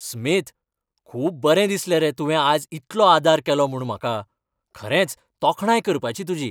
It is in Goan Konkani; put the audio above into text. स्मिथ, खूब बरें दिसलें रे तुवें आज इतलो आदार केलो म्हूण म्हाका. खरेंच तोखणाय करपाची तुजी!